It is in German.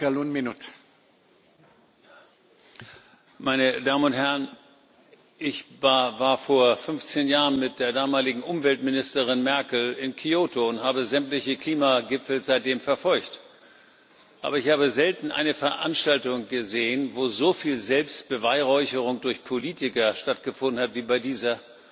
Herr Präsident, meine Damen und Herren! Ich war vor 15 Jahren mit der damaligen Umweltministerin Merkel in Kyoto und habe sämtliche Klimagipfel seitdem verfolgt, aber ich habe selten eine Veranstaltung gesehen, wo so viel Selbstbeweihräucherung durch Politiker stattgefunden hat wie bei dieser.